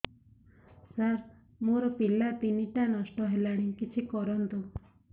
ସାର ମୋର ପିଲା ତିନିଟା ନଷ୍ଟ ହେଲାଣି କିଛି କରନ୍ତୁ